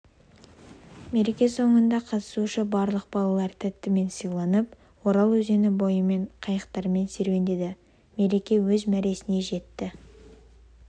мереке соңында қатысушы барлық балалар тәттімен сыйланып орал өзені бойымен қайықтармен серуендеді мереке өз мәресіне жетті